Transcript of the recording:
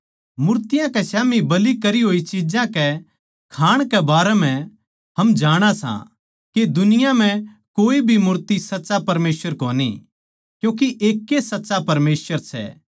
मूर्तियाँ कै स्याम्ही बलि करी होई चिज्जां कै खाण कै बारै म्ह हम जाणा सां के दुनिया म्ह कोए भी मूर्ति सच्चा परमेसवर कोनी क्यूँके एकैए सच्चा परमेसवर सै